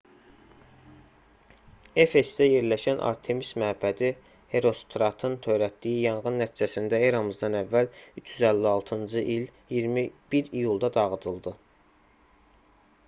efesdə yerləşən artemis məbədi herostratın törətdiyi yanğın nəticəsində eramızdan əvvəl 356-cı il 21 iyulda dağıdıldı